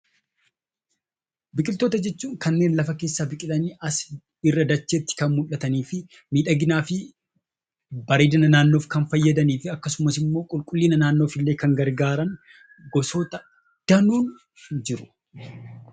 Biqiloota jechuun kanneen lafa keessaa biqilanii irraa dacheetti mul'atanii fi miidhaginaa fi bareedina naannoof kan fayyadanii fi akkasumas immoo qulqullina naannoof kan gargaaran biqiloota danuutu jiru.